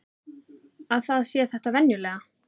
Að það sé þetta venjulega.